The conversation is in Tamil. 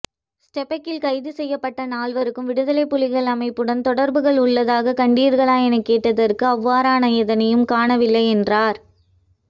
ஸ்டெபக்கில் கைது செய்யப்பட்ட நாள்வருக்கும் விடுதலைப்புலிகள் அமைப்புடன் தொடர்புகள் உள்ளதாக கண்டீர்களா எனக் கேட்டதற்கு அவ்வாறான எதனையும் காணவில்லை என்றார்